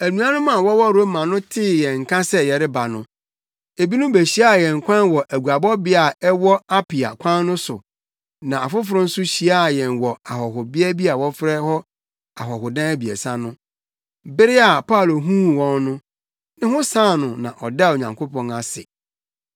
Anuanom a wɔwɔ Roma no tee yɛn nka sɛ yɛreba no, ebinom behyiaa yɛn kwan wɔ aguabɔbea a ɛwɔ Apia kwan no so na afoforo nso hyiaa yɛn wɔ ahɔhobea bi a wɔfrɛ no Ahɔhodan Abiɛsa no. Bere a Paulo huu wɔn no, ne ho san no na ɔdaa Onyankopɔn ase.